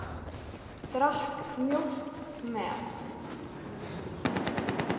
Drakk mjólk með.